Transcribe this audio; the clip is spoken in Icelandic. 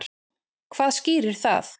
Hvað skýrir það?